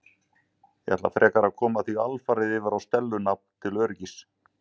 Ég ætla frekar að koma því alfarið yfir á Stellu nafn til öryggis.